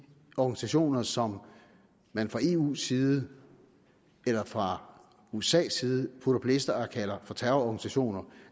organisationer som man fra eus side eller fra usas side putter på lister og kalder for terrororganisationer